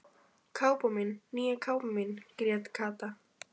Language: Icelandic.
Kápan mín, nýja kápan mín grét Kata.